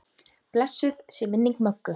Blessuð sé minning Möggu.